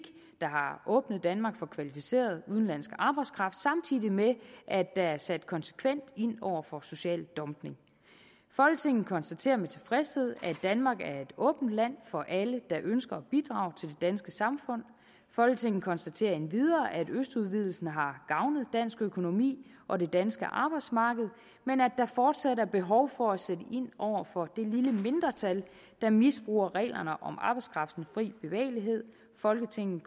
der har åbnet danmark for kvalificeret udenlandsk arbejdskraft samtidig med at der er sat konsekvent ind over for social dumping folketinget konstaterer med tilfredshed at danmark er et åbent land for alle der ønsker at bidrage til det danske samfund folketinget konstaterer endvidere at østudvidelsen har gavnet dansk økonomi og det danske arbejdsmarked men at der fortsat er behov for at sætte ind over for det lille mindretal der misbruger reglerne om arbejdskraftens fri bevægelighed folketinget